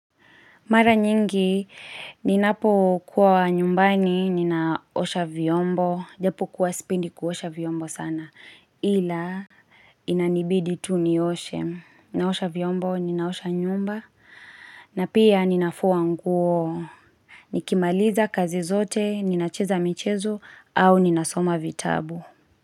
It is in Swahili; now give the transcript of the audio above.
Mara nyingi, ninapo kua nyumbani, ninaosha vyombo, japo kua sipendi kuosha vyombo sana, ila inanibidi tu nioshe. Ninaosha vyombo, ninaosha nyumba, na pia ninafua nguo. Nikimaliza kazi zote, ninacheza michezo, au ninasoma vitabu.